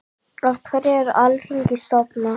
Af hverju var Alþingi stofnað?